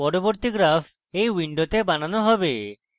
পরবর্তী graph এই window বানানো হবে